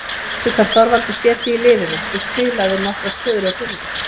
Veistu hvar Þorvaldur sér þig í liðinu, þú spilaðir nokkrar stöður hjá Fjölni?